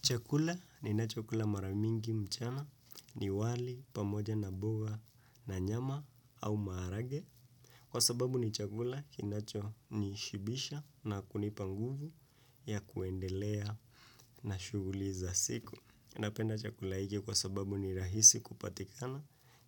Chakula ninacho kula maramingi mchana ni wali pamoja na boga na nyama au maharage. Kwa sababu ni chakula kinacho nishibisha na kunipa nguvu ya kuendelea na shuguli za siku. Napenda chakula iki kwa sababu ni rahisi kupatikana